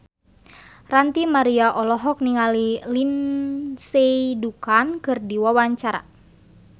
Ranty Maria olohok ningali Lindsay Ducan keur diwawancara